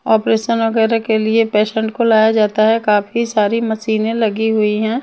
Operation वगैरह के लिए पेशेंट को लाया जाता है काफी सारी मशीनें लगी हुई हैं।